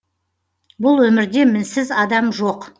бұл өмірде мінсіз адам жоқ